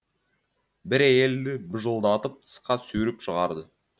бір әйелді бажылдатып тысқа сүйреп шығарды